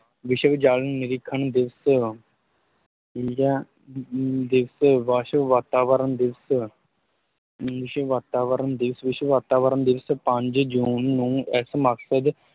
ਵਿਸ਼ਵ ਜਲ ਨਿਰੀਖਣ ਦਿਵਸ ਠੀਕ ਹੈ, ਅਮ ਦਿਵਸ਼ ਵਿਸ਼ਵ ਵਾਤਾਵਰਨ ਦਿਵਸ਼, ਵਿਸ਼ਵ ਵਾਤਾਵਰਨ ਦਿਵਸ਼, ਵਿਸ਼ਵ ਵਾਤਾਵਰਨ ਦਿਵਸ਼ ਪੰਜ ਜੂਨ ਨੂੰ ਇਸ ਮਕਸਦ